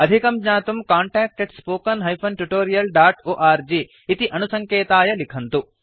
अधिकं ज्ञातुं contactspoken tutorialorg इति अणुसङ्केताय लिखन्तु